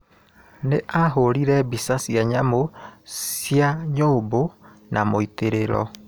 Nĩ aahũũrire mbica cia nyamũ cia nyũmbũ na mũitĩrĩro.